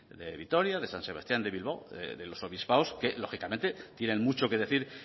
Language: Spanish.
de vitoria de san sebastián de bilbao de los obispados que lógicamente tienen mucho que decir